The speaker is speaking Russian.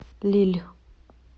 лилль